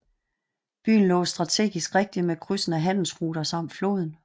Byen lå strategisk rigtigt med krydsende handelsruter samt floden